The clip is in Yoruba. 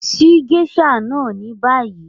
Ṣíì geisha náà ní bàyì!